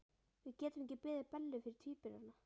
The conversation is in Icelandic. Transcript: Við getum ekki beðið Bellu fyrir tvíburana.